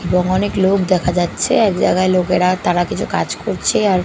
এবং অনেক লোক দেখা যাচ্ছে এক জায়গায় লোকেরা তারা কিছু কাজ করছে আর --